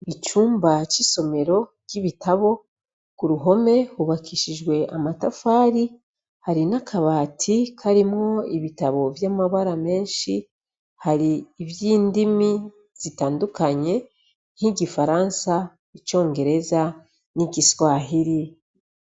Icumba c'isomero ry'ibitabo, k'uruhome hubakishijwe amatafari, hari n'akabati karimwo ibitabo vy'amabara menshi, hari ivy'indimi zitandukanye nk'igifaransa, icongereza n'igiswahiri.